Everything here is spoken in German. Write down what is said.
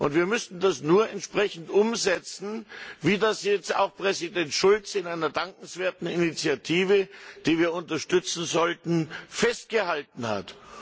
Wir müssen das nur entsprechend umsetzen, wie das jetzt auch Präsident Schulz in einer dankenswerten Initiative, die wir unterstützen sollten, festgehalten hat.